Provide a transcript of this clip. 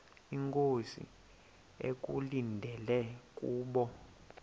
inkosi ekulindele kubo